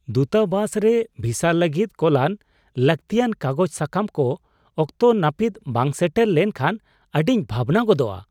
ᱫᱩᱛᱟᱵᱟᱥ ᱨᱮ ᱵᱷᱤᱥᱟ ᱞᱟᱹᱜᱤᱫ ᱠᱳᱞᱟᱱ ᱞᱟᱹᱠᱛᱤᱭᱟᱱ ᱠᱟᱜᱚᱡ ᱥᱟᱠᱟᱢ ᱠᱚ ᱚᱠᱛᱚ ᱱᱟᱹᱯᱤᱛ ᱵᱟᱝ ᱥᱮᱴᱮᱨ ᱞᱮᱢᱱᱠᱷᱟᱱ ᱟᱹᱰᱤᱧ ᱵᱷᱟᱵᱽᱱᱟ ᱜᱚᱫᱚᱜᱼᱟ ᱾